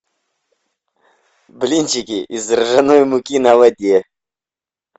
блинчики из ржаной муки на воде